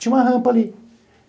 Tinha uma rampa ali.